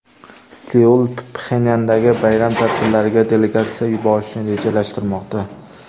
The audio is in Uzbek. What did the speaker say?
Seul Pxenyandagi bayram tadbirlariga delegatsiya yuborishni rejalashtirmoqda.